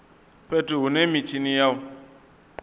fhethu hune mitshini ya u